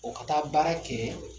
O ka taa baara kɛ